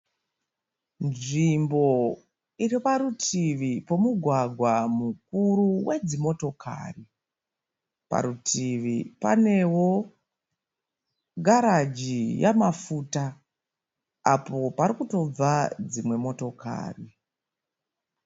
Nzvimbo iriparutivi pomugwagwa mukuru wedzimotokari. Parutivi panewo garaji yamafuta apo parikutobva dzimwe motokari.